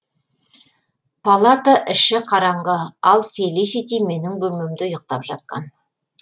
палата іші қараңғы ал фелисити менің бөлмемде ұйықтап жатқан